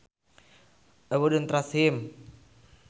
I would not trust him